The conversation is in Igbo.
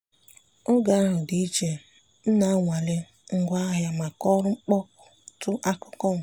oge ahụ dị iche—m na-anwale ngwaahịa maka ọrụ mkpọtu akụkụ m.